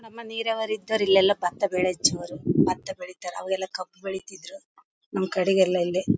ನಮ್ಮ ನೀರಾವರಿ ಇದ್ದವರೆಲ್ಲಾಇಲ್ಲೆಲ್ಲಾ ಬತ್ತ ಬೆಳೆ ಹೆಚ್ಚುವರು ಬತ್ತ ಬೆಳಿತ್ತಾರೆ ಅವರೆಲ್ಲಾ ಕಬ್ಬು ಬೆಳಿತ್ತಿದ್ರು ನಮ್ಮ ಕಡೆಗೆಲ್ಲಾ ಇಲ್ಲಿ .